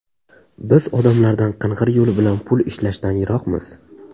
Biz odamlardan qing‘ir yo‘l bilan pul ishlashdan yiroqmiz.